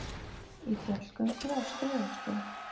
Í fjallgöngu á strigaskóm